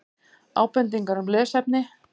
Ábendingar um lesefni: